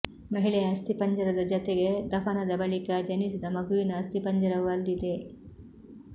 ಮಹಿಳೆಯ ಅಸ್ಥಿಪಂಜರದ ಜತೆಗೆ ದಫನದ ಬಳಿಕ ಜನಿಸಿದ ಮಗುವಿನ ಅಸ್ಥಿಪಂಜರವು ಅಲ್ಲಿದೆ